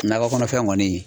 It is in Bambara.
Nakɔ kɔnɔfɛnw kɔni.